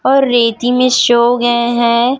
और रेती में सो गए है।